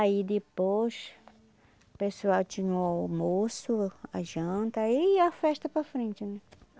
Aí, depois, o pessoal tinha o almoço, a janta e a festa para frente, né?